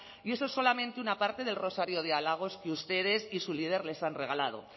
y eso es solamente una parte del rosario de halagos que ustedes y su líder les han regalado